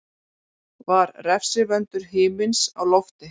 Var refsivöndur himins á lofti?